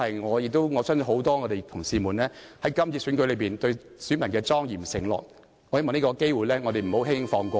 我亦相信這是很多同事在這次選舉中對選民表達的莊嚴承諾，我希望我們不要輕輕放過這個機會......